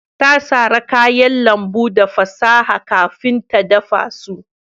Ta sara kayan lambu da fasaha kafin ta dafa su